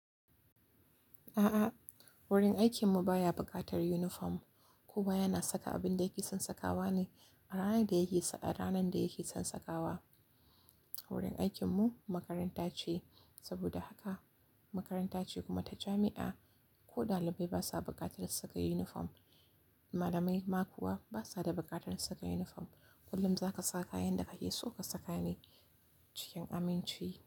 A'a, wurin aikinmu baya buƙatar yunifom kowa yana saka abin da yake son sakawa ne a ranar da yake son sakawa. Wurin aikinmu makaranta ce, saboda haka makaranta ce kuma ta jami'a ko ɗalibai basa buƙatar saka yunifom. Malamai ma kuwa basa da buƙatar saka yunifom. Kullum za ka sa kayan da kake so ka saka ne cikin aminci.